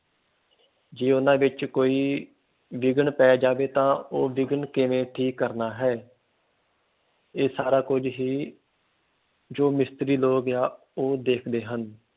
ਜੇ ਉਨਾਂ ਵਿਚ ਕੋਈ ਵਿਘਨ ਪੈ ਜਾਵੇ ਤਾ ਉਹ ਵਿਘਨ ਕਿਵੇਂ ਠੀਕ ਕਰਨਾ ਹੈ। ਇਹ ਸਾਰਾ ਕੁਝ ਹੀ ਜੋ ਮਿਸਤਰੀ ਲੋਕ ਆ ਉਹ ਦੇਖਦੇ ਹਨ।